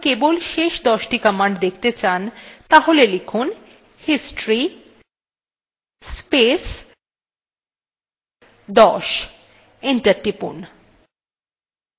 তাহলে লিখুন history space 10 enter টিপুন